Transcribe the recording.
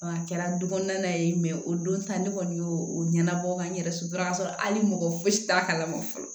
A kɛra du kɔnɔna ye o don ta ne kɔni y'o ɲɛnabɔ ka n yɛrɛ sɔrɔ ka sɔrɔ hali mɔgɔ fosi t'a kala ma fɔlɔ